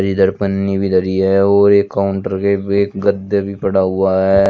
इधर पन्नी भी धरी है और एक काउंटर के एक गद्दे भी पड़ा हुआ है।